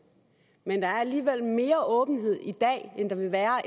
men der er alligevel mere åbenhed i dag end der vil være